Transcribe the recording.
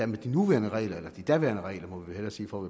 med de nuværende regler eller de daværende regler må vi vel hellere sige for